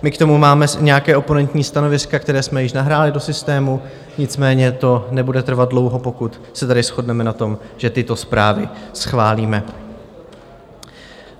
My k tomu máme nějaká oponentní stanoviska, která jsme již nahráli do systému, nicméně to nebude trvat dlouho, pokud se tady shodneme na tom, že tyto zprávy schválíme.